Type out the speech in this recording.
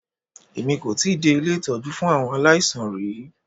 Èmi kò tíì dé ilé ìtọ́jú fún àwọn aláìsàn rí.